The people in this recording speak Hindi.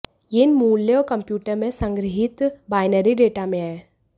यह इन मूल्यों और कंप्यूटर में संग्रहीत बाइनरी डेटा में है